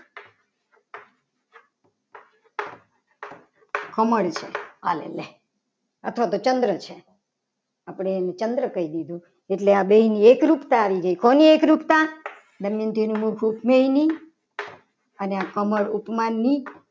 કમળ છે. આ લે લે અથવા તો ચંદ્ર છે. આપણે અને ચંદ્ર કહી દીધું. એટલે આ બેની એકરૂપતા આવી ગઈ. કોની એકરૂપતા બંનેનું મુખ તેની અને આ કમળ ઉપમાનની